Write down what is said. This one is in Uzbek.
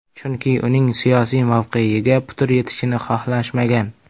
Chunki uning siyosiy mavqeyiga putur yetishini xohlashmagan.